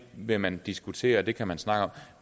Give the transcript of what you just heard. vil man diskutere at det kan man snakke om